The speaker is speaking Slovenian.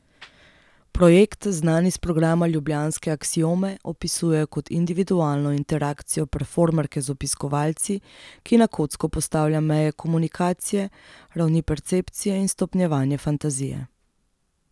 Projekt, znan iz programa ljubljanske Aksiome, opisujejo kot individualno interakcijo performerke z obiskovalci, ki na kocko postavlja meje komunikacije, ravni percepcije in stopnjevanje fantazije.